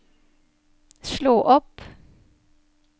slå opp